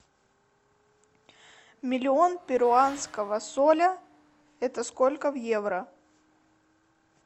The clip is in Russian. миллион перуанского соля это сколько в евро